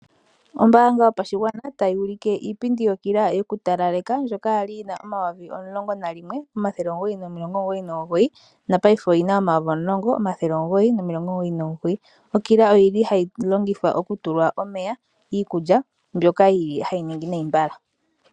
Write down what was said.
Ombaanga yopashigwa tayi ulike iipindi yokila yoku talaleka ndjoka yali yina omayovi omulongo nalimwe, omathele omugoyi nomilongo omugoyi nomugoyi. Na paife oyina omayovi omulongo, omathele omugoyi nomilongo omugoyi nomugoyi. Okila oyili hayi longithwa oku tula omeya, iikulya mboka yili hayi ningi nayi mbala